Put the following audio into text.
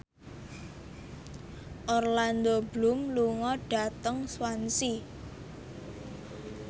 Orlando Bloom lunga dhateng Swansea